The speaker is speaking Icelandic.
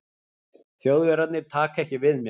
Þjóðverjarnir taka ekki við mér.